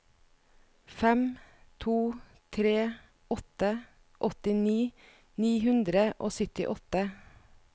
fem to tre åtte åttini ni hundre og syttiåtte